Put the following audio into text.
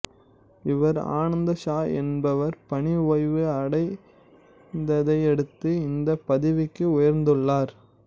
இவர் ஆனந்த் ஷா என்பவர் பணி ஓய்வு அடைந்ததையடுத்து இந்த பதவிக்கு உயர்ந்துள்ளார்